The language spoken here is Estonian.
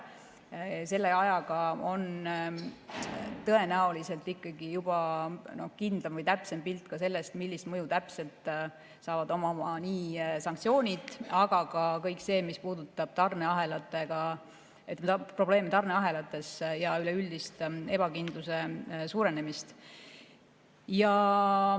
Selle ajaga on tõenäoliselt ikkagi juba kindlam või täpsem pilt sellest, millist mõju täpselt saavad omama nii sanktsioonid kui ka kõik see, mis puudutab probleeme tarneahelates ja üleüldist ebakindluse suurenemist.